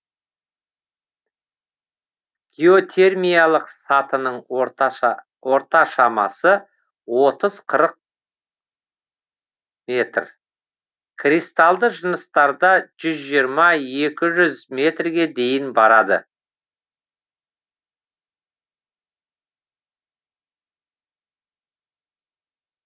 геотермиялық сатының орта шамасы отыз қырық метр кристалды жыныстарда жүз жиырма екі жүз метрге дейін барады